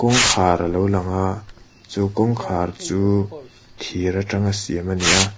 kawngkhar a lo lang a chu kawngkhar chu thir atanga siam a ni a.